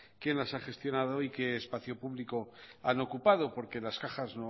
quién las ha gestionado y qué espacio público han ocupado porque las cajas